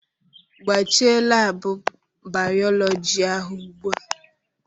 Gbachie laabụ bayọlọji ahụ ugbu a!